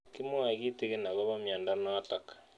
Kimwae kitig'in akopo miondo notok